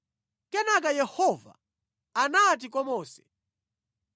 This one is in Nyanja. Kenaka Yehova anati kwa Mose,